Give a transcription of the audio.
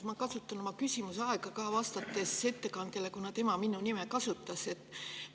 Ma kasutan oma küsimuse aega ka ettekandjale vastamiseks, kuna ta minu nime.